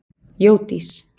Jódís